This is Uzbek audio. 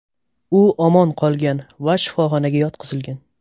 U omon qolgan va shifoxonaga yotqizilgan.